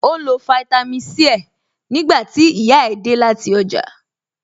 Ó ń lo fáítámì Sí ẹ̀ nígbà tí ìyá ẹ̀ dé láti ọjà